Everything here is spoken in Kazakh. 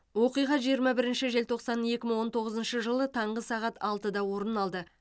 оқиға жиырма бірінші желтоқсан екі мың он тоғыз жылы таңғы сағат алтыда орын алды